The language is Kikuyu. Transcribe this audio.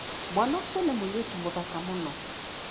Mwana ũcio nĩ mũirĩtu mũthaka mũno.